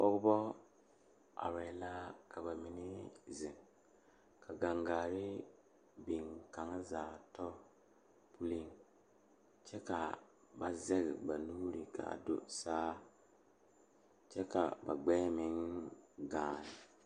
Pɔgeba are ka bamine zeŋ ka gangaare biŋ kaŋa zaa toɔ puli kyɛ ka ba zage ba nuure kaa do saa kyɛ ka ba gbɛɛ meŋ gaa.